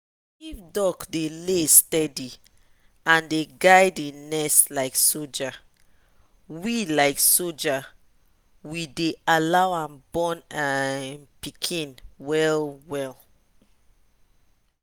if duck dey lay steady and dey guide e nest like soldier we like soldier we deh allow am born um pikin well well.